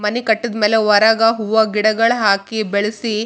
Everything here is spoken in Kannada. ಅದರ ಸುತ್ತ ಮುತ್ತ ಎಲ್ಲ ಜಾಲಿಗಲ್ಲ ಹಾಕ್ತರ ಎಲ್ಲ ಚಲೋ ಇರಕ್.